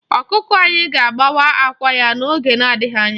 Ọkụkọ anyị ga-agbawa àkwá ya n'oge na-adịghị anya.